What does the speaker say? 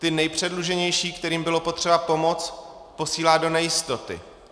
Ty nejpředluženější, kterým bylo potřeba pomoct, posílá do nejistoty.